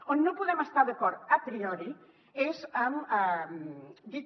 on no podem estar d’acord a priori és en dir que